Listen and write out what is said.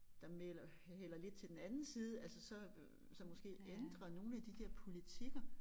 Der melder hælder lidt til den anden side altså så som måske ændrer nogle af de der politikker